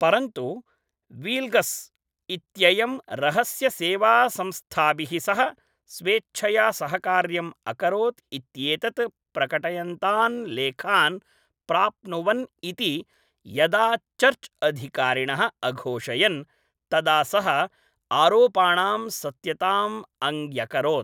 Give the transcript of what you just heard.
परन्तु, वील्गस् इत्ययं रहस्यसेवासंस्थाभिः सह स्वेच्छया सहकार्यम् अकरोत् इत्येतत् प्रकटयन्तान् लेखान् प्राप्नुवन् इति यदा चर्च् अधिकारिणः अघोषयन् तदा सः आरोपाणां सत्यताम् अङ्ग्यकरोत्।